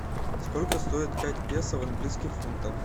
сколько стоит пять песо в английских фунтах